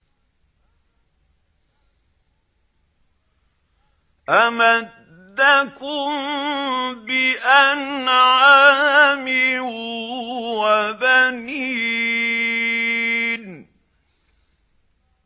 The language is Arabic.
أَمَدَّكُم بِأَنْعَامٍ وَبَنِينَ